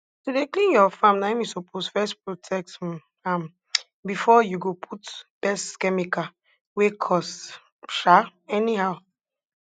to dey clean your farm na im you suppose first protect um am before you go put pest chemical wey cost um anyhow